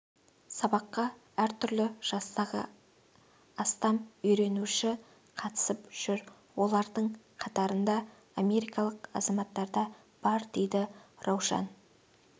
сабаққа әртүрлі жастағы астам үйренуші қатысып жүр олардың қатарында америкалық азамат та бар дейді раушан